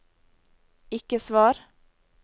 ikke svar